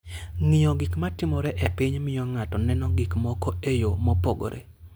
Ng'iyo gik matimore e piny miyo ng'ato neno gik moko e yo mopogore.